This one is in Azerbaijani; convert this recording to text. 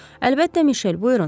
Əlbəttə Mişel, buyurun.